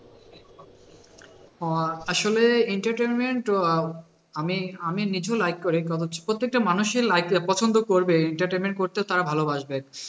আহ আসলে entertainment আহ আমি আমি নিজেও like করি আহ প্রত্যেকটা মানুষেরই like পছন্দ করবে entertainment করতেও তারা ভালোবাসবে,